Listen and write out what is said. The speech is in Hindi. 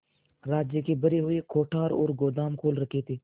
राज्य के भरे हुए कोठार और गोदाम खोल रखे थे